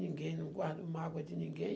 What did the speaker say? ninguém, não guardo mágoa de ninguém.